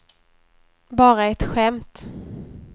bara ett skämt